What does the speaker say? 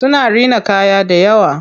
Suna rina kaya dayawa.